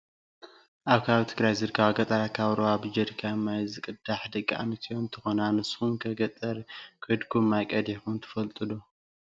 ኣብ ከባቢ ትግራይ ዝርከባ ገጠራት ካብ ሩባ ብጀሪካን ማይ ዝቀድሓ ደቂ ኣንስትዮ እንትኮና ንስኩም'ከ ገጠር ከድኩም ማይ ቀዲሕኩም ትፈልጡ ዶ?